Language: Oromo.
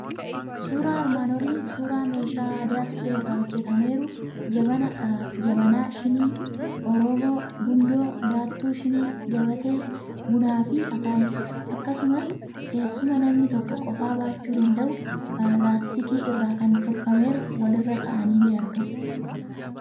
Suuraan armaan olii suuraa meeshaa aadaa supheerraa hojjetameeru jabanaa, shinii, Orooboo, gundoo, baattuu shinii, gabatee, bunaa fi akaayiidha. Akkasumas, teessuma namni tokko qofaa baachuu danda'u, laastikii irraa kan tolfameeru walirra taa'anii ni argamu.